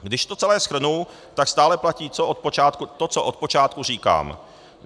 Když to celé shrnu, tak stále platí to, co od počátku říkám.